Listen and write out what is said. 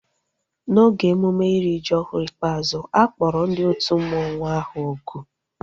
N'oge emume iri ji ọhụrụ ikpeazụ, a kpọrọ ndị otu mmanwu ahu oku